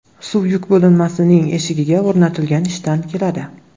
Suv yuk bo‘linmasining eshigiga o‘rnatilgan idishdan keladi.